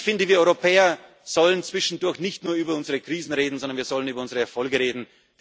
können. Ich finde, wir Europäer sollen zwischendurch nicht nur über unsere Krisen reden, sondern wir sollen über unsere Erfolge